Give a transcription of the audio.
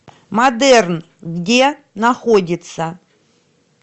модерн где находится